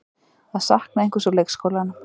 Að sakna einhvers úr leikskólanum